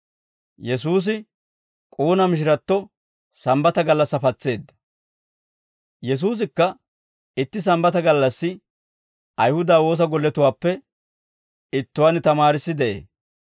Yesuusikka itti Sambbataa gallassi Ayihuda woosa gollatuwaappe ittuwaan tamaarissi de'ee.